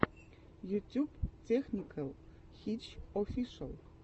ютюб тэхникэл хитч офишэл